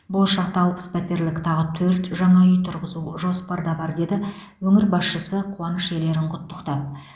болашақта алпыс пәтерлік тағы төрт жаңа үй тұрғызу жоспарда бар деді өңір басшысы қуаныш иелерін құттықтап